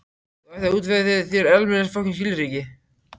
Þú ættir að útvega þér almennileg skilríki.